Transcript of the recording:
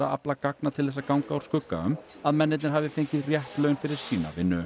afla gagna til þess að ganga úr skugga um að mennirnir hafi fengið rétt laun fyrir sína vinnu